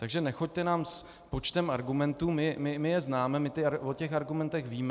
Takže nechoďte nám s počtem argumentů, my je známe, my o těch argumentech víme.